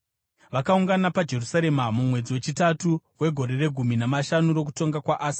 Vakaungana paJerusarema mumwedzi wechitatu wegore regumi namashanu rokutonga kwaAsa.